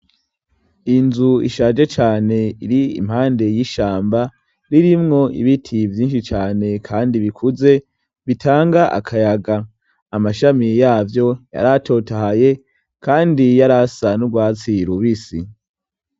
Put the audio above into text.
Inzu ishaje cane iri impande y'ishamba ririmwo ibiti vyinshi cane kandi bikuze bitanga akayaga amashami yavyo yaratotahaye kandi yarasa n'urwatsira rubisi.